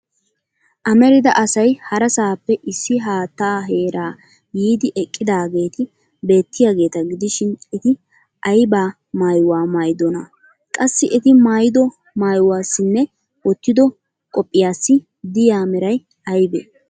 Amarida asay harasaappe issi haattaa heraa yiidi eqqidaageeti beettiyageeta gidishin eti ayba maayuwa maayidonaa? Qassi eti maayido maayuwassinne wottidi qophiyaassi diya Meray aybee?